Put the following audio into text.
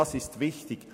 Markus Schütz (d)